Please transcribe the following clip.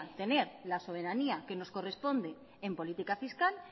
tener la soberanía que nos corresponde en política fiscal